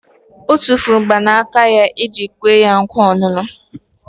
Otufuru mgbanaka eji kwe ya nkwa onunu